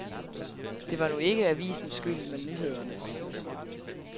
Det var nu ikke avisens skyld, men nyhedernes.